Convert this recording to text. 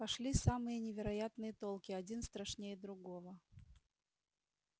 пошли самые невероятные толки один страшнее другого